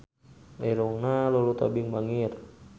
Irungna Lulu Tobing bangir